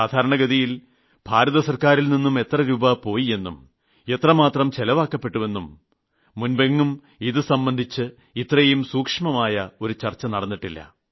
സാധാരണഗതിയിൽ കേന്ദ്ര ഗവൺമെന്റ് എത്ര തുക അനുവദിച്ചുവെന്നും അതിൽ എത്രമാത്രം ചെലവാക്കപ്പെട്ടുവെന്നും മുമ്പെങ്ങും ഇതു സംബന്ധിച്ച് ഇത്രയും സൂക്ഷ്മമായ ഒരു ചർച്ച നടന്നിട്ടില്ല